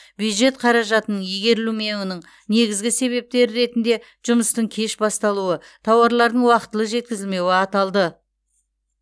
бюджет қаражатының игерілмеуінің негізгі себептері ретінде жұмыстың кеш басталуы тауарлардың уақытылы жеткізілмеуі аталды